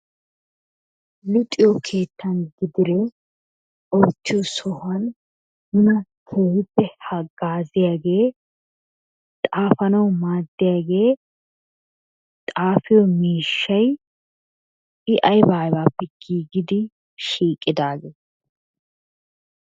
Luxiyo keettan gidide oottiyo sohuwan nuna keehippe haggaziyagee xaafanawu maaddiyaagee xaafiyo miishshay I aybaa aybaappe giigidi shiiqidagee?